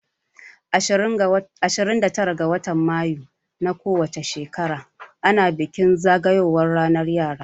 Ashirin da tara ga watan mayus na ko wace shekara ana bikin zagayowan ranar yara